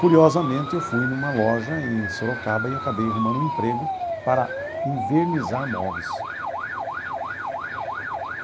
Curiosamente, eu fui numa loja em Sorocaba e acabei arrumando um emprego para invernizar móveis.